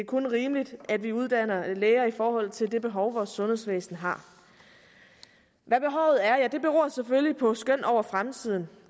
kun rimeligt at vi uddanner læger i forhold til det behov vores sundhedsvæsen har hvad behovet er ja det beror selvfølgelig på skøn over fremtiden